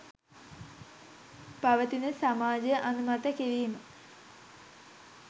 පවතින සමාජය අනුමත කිරීම